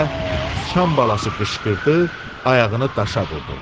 Deyə sıçan balası qışqırdı, ayağını daşa vurdu.